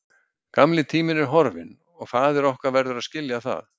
Gamli tíminn er horfinn og faðir okkar verður að skilja það.